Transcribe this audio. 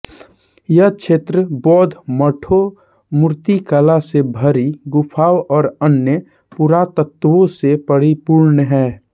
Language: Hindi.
यह क्षेत्र बौद्ध मठों मूर्तिकला से भरी गुफाओं और अन्य पुरातत्वों से परिपूर्ण है